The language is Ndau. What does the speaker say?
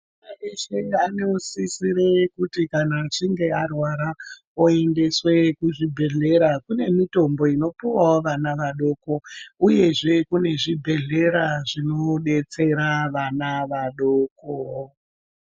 Mwana weshe anosisire kuti kana achinge arwara oendeswe kuzvibhedhlera kune mitombo inopiwawo vana vadoko uyezve kune zvibhedhlera zvinodetsera vana vadoko.